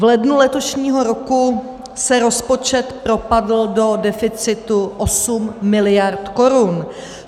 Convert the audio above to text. V lednu letošního roku se rozpočet propadl do deficitu 8 mld. korun.